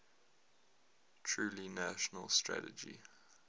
truly national strategy